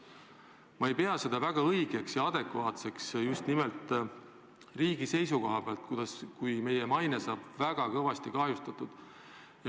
Ma ei pea seda väga õigeks ja adekvaatseks just nimelt riigi seisukohast, kui meie maine saab väga kõvasti kahjustatud.